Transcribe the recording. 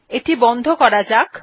এটি বন্ধ করা যাক